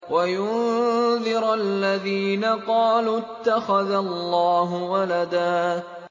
وَيُنذِرَ الَّذِينَ قَالُوا اتَّخَذَ اللَّهُ وَلَدًا